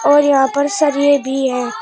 और यहां पर सरिये भी है।